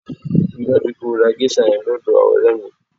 Rí i dájú pé o ra géṣà yẹn lọ́dọ̀ ọ̀rẹ́ mi!